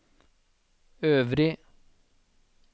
øvrig